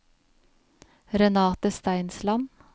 Renate Steinsland